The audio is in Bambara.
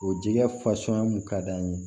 O jɛgɛ fasuguya mun ka d'an ye